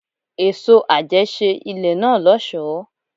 Èso àjẹ́ ṣe ilé náà lọ́sọ̀ọ́.